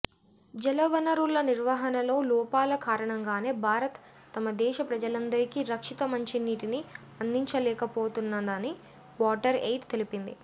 జల వనరుల నిర్వహణలో లోపాల కారణంగానే భారత్ తమ దేశ ప్రజలందరికీ రక్షిత మంచినీటిని అందించలేకపోతున్నదని వాటర్ ఎయిడ్ తెలిపింది